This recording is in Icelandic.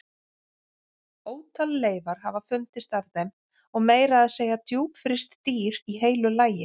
Ótal leifar hafa fundist af þeim og meira að segja djúpfryst dýr í heilu lagi.